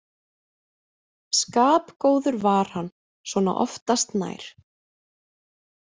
Skapgóður var hann svona oftast nær.